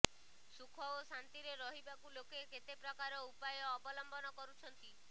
ସୁଖ ଓ ଶାନ୍ତିରେ ରହିବାକୁ ଲୋକେ କେତେ ପ୍ରକାର ଉପାୟ ଅବଲମ୍ବନ କରୁଛନ୍ତି